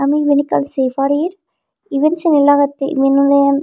ami yen ekkan se parir iben seney lagettey iben oley.